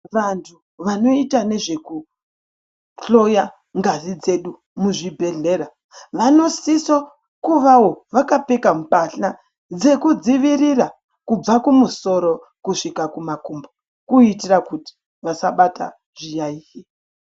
Vantu vanoite nezvekuhloya ngazi dzedu muzvibhedhlera vanosiso kuvawo vakapfeka mbatya dzinodziirira kubva kumusoro kusvika kumakumbo kuitira kuti vasabata zviyaiyo.